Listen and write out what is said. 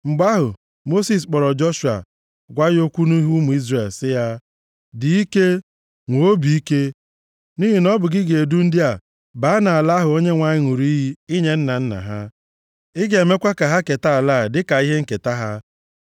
Mgbe ahụ, Mosis kpọrọ Joshua, gwa ya okwu nʼihu ụmụ Izrel, sị ya, “Dị ike! Nwee obi ike! Nʼihi na ọ bụ gị ga-edu ndị a baa nʼala ahụ Onyenwe anyị ṅụrụ iyi inye nna nna ha, ị ga-emekwa ka ha keta ala a dịka ihe nketa ha.